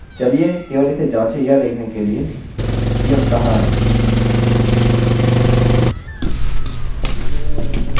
चलिए केवल इसे जाँचे यह देखने के लिए कि हम कहाँ हैंसही अतः यह false है